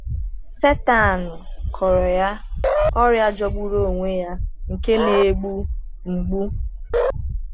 Sátán kụrọ ya ọrịa jọgburu onwe ya, nke na-egbu mgbu.